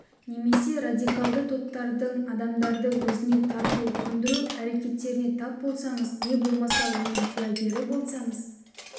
немесе радикалды топтардың адамдарды өзіне тарту көндіру әрекеттеріне тап болсаңыз не болмаса оның куәгері болсаңыз